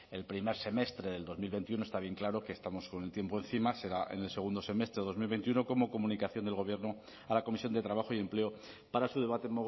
el primer semestre del dos mil veintiuno está bien claro que estamos con el tiempo encima será en el segundo semestre de dos mil veintiuno como comunicación del gobierno a la comisión de trabajo y empleo para su debate